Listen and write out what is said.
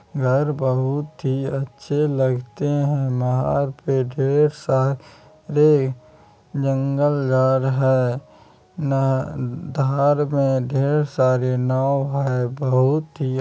घर बहुत ही अच्छे लगते हैं। नहर पे ढ़ेर सा रे जंगल झाड़ है। ना धार में ढ़ेर सारे नाव है। बहुत ही --